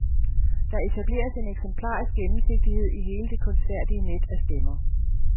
Der etableres en eksemplarisk gennemsigtighed i hele det kunstfærdige net af stemmer.